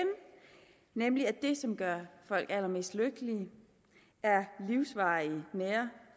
nemlig at det som gør folk allermest lykkelige er livsvarige nære